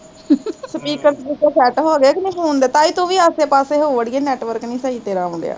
speaker speaker set ਹੋਗੇ ਕੀ ਨਹੀਂ phone ਦੇ ਤਾਈ ਤੂੰ ਵੀ ਆਸੇ ਪਾਸੇ ਹੋ ਅੜੀਏ network ਨੀ ਤੇਰਾ ਸਹੀ ਆਉਣ ਡਿਆ ਵਾਂ